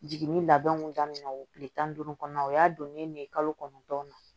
Jiginni labɛnw daminɛ tile tan ni duuru kɔnɔna na o y'a donnen ne ye kalo kɔnɔntɔn na